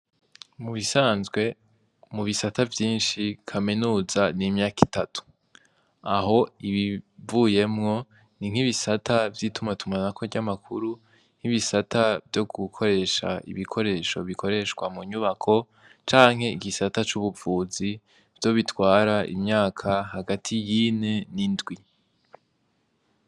Mu bisanzwe, mu bisata vyinshi kaminuza ni imyaka itatu. Aho ibivuyemwo, ni nk'ibisata vy'itumatumanako ry'makuru n'ibisata vy'ibikoresho bikoreshwa mu nyubako canke igisata c'ubuvuzi, nivyo bitwara imyaka hagati y'ine n'indwi.